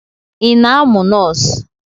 Ị na-amụ nọọsụ?